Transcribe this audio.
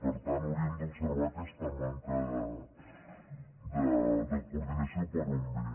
per tant hauríem d’observar aquesta manca de coordinació per on ve